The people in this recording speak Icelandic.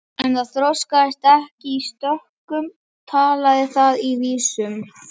Ef það þroskaðist ekki í stökkum talaði það í vísum.